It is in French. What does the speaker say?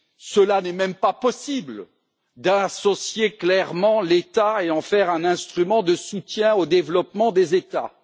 Cela n'est même pas possible d'associer clairement l'État et d'en faire un instrument de soutien au développement des États.